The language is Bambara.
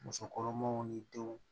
Muso kɔnɔmanw ni denw